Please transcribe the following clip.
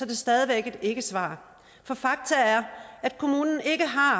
det stadig væk et ikkesvar for faktum er at kommunen ikke har